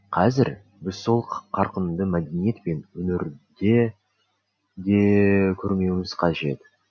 қазір біз сол қарқынды мәдениет пен өнерде де көрмеуіміз қажет